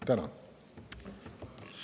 Tänan!